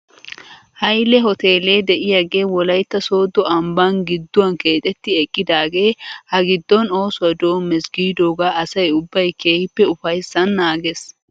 Hayile hoteelee de'iyaagee wolaytta sooddo ambban gidduwan keexetti eqqidaagee ha giddon oosuwaa doommes giidoogaa asay ubbay keehippe ofayssan naages .